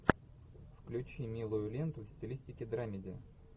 включи милую ленту в стилистике драмеди